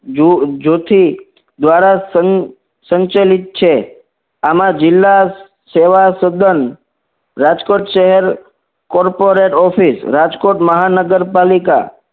જો જોથી દ્વારા સંચાલિત છે આમાં જિલ્લા સેવા સદન રાજકોટ શહેર corporate office રાજકોટ મહાનગરપાલિકા